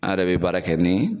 An yɛrɛ bɛ baara kɛ nin